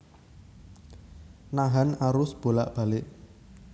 Nahan arus bolak balik